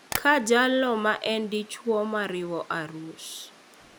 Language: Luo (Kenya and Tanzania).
Ka jalo ma en dichwo mariwo arus,